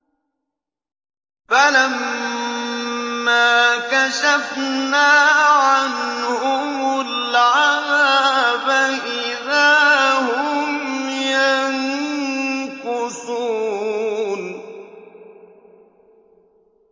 فَلَمَّا كَشَفْنَا عَنْهُمُ الْعَذَابَ إِذَا هُمْ يَنكُثُونَ